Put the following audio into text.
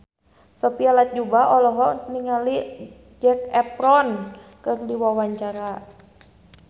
Sophia Latjuba olohok ningali Zac Efron keur diwawancara